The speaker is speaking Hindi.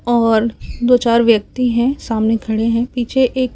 और दो चार व्यक्ति हैं सामने खड़े हैं पीछे एक--